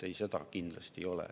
Ei, seda kindlasti ei ole.